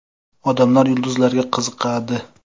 Odamlar yulduzlarga qiziqadi.